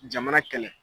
Jamana kɛlɛ